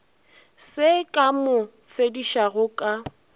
se ka mo fodišago ka